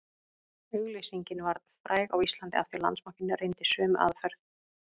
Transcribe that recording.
Auglýsingin varð fræg á Íslandi af því Landsbankinn reyndi sömu aðferð